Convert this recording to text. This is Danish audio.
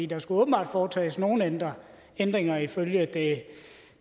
der skulle åbenbart foretages nogle ændringer ændringer ifølge